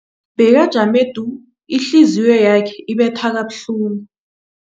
Bekajame du, ihliziyo yakhe ibetha kabuhlungu.